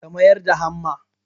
ka mayar da hamma